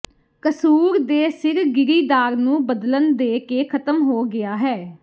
ਕਸੂਰ ਦੇ ਸਿਰ ਗਿਰੀਦਾਰ ਨੂੰ ਬਦਲਣ ਦੇ ਕੇ ਖਤਮ ਹੋ ਗਿਆ ਹੈ